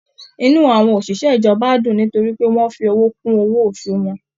Inú àwọn oṣiṣẹ ìjọba n dùn nítorí pé wọn fi owó kún owó oṣù wọn.